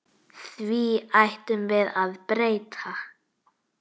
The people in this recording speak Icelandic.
Því ætlum við að breyta.